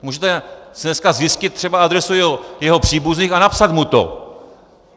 Můžete si dneska zjistit třeba adresu jeho příbuzných a napsat mu to: